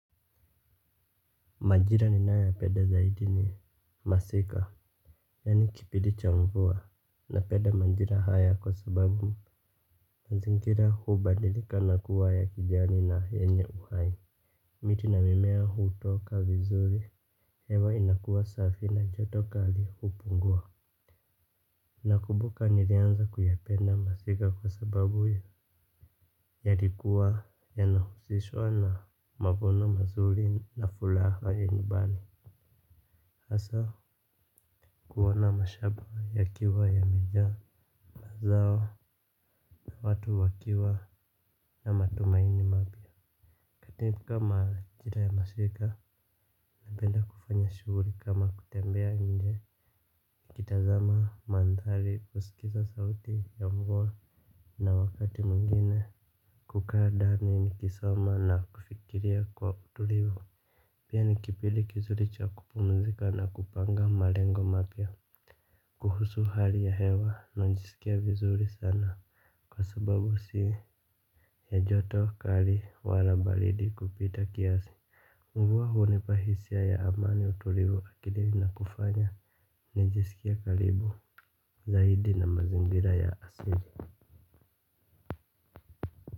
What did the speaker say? Majira ninayoya penda zaidi ni masika. Yaani kipindi cha mvua. Napenda majira haya kwa sababu mazingira hubadilika na kuwa ya kijani na yenye uhai. Miti na mimea hutoka vizuri. Hewa inakuwa safi na joto kali hupungua. Nakumbuka nilianza kuyapenda masika kwa sababu yalikuwa yanahusishwa na mavuno mazuri na furaha ya nyumbani hasa kuona mashamba yakiwa yamejaa mazao na watu wakiwa na matumaini mapya katika majira ya masika napenda kufanya shughuli kama kutembea nje kutazama mandhari kusikiza sauti ya mvua na wakati mwingine kukaa ndani nikisoma na kufikiria kwa utulivu pia ni kipindi kizuri cha kupumzika na kupanga malengo mapya kuhusu hali ya hewa najisikia vizuri sana kwa sababu si ya joto kali wala baridi kupita kiasi mvua hunipa hisia ya amani utulivu akilini na kufanya najisikia karibu zaidi na mazingira ya asili.